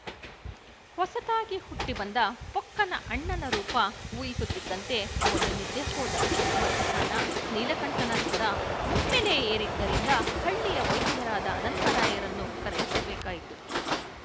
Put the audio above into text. ಹೊಸತಾಗಿ ಹುಟ್ಟಿ ಬಂದ ಪೊಕ್ಕನ ಅಣ್ಣನ ರೂಪ ಊಹಿಸುತ್ತಿದ್ದಂತೆ ಅವನು ನಿದ್ದೆ ಹೋದ ಮಧ್ಯಾಹ್ನ ನೀಲಕಂಠನ ಜ್ವರ ಒಮ್ಮೆಲೇ ಏರಿದ್ದರಿಂದ ಹಳ್ಳಿಯ ವೈದ್ಯರಾದ ಅನಂತರಾಯರನ್ನು ಕರೆಯಿಸಬೇಕಾಯಿತು